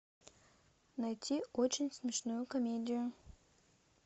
найти очень смешную комедию